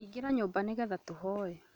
Ingĩra nyũmbainĩ nĩgetha tũhoe